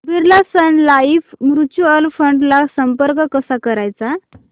Birla sun life mutual fund ला संपर्क कसा करायचा